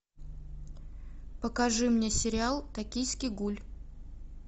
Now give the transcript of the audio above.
покажи мне сериал токийский гуль